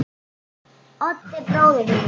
Oddi bróður mínum.